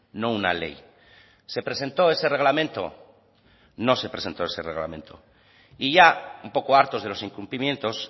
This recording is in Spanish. no una ley se presentó ese reglamento no se presentó ese reglamento y ya un poco hartos de los incumplimientos